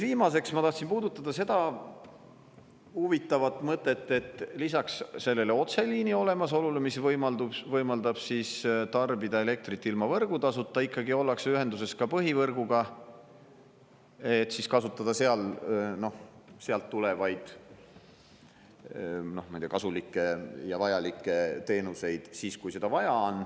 Viimaseks ma tahtsin puudutada seda huvitavat mõtet, et lisaks sellele otseliini olemasolule, mis võimaldab tarbida elektrit ilma võrgutasuta, ikkagi ollakse ühenduses ka põhivõrguga, et kasutada sealt tulevaid, ma ei tea, kasulikke ja vajalikke teenuseid siis, kui seda on vaja.